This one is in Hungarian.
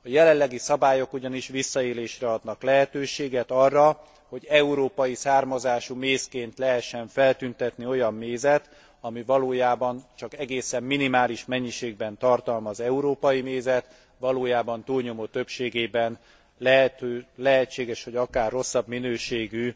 A jelenlegi szabályok ugyanis visszaélésre adnak lehetőséget, arra, hogy európai származású mézként lehessen feltüntetni olyan mézet, ami valójában csak egészen minimális mennyiségben tartalmaz európai mézet, valójában túlnyomó többségében, lehetséges, hogy akár rosszabb minőségű,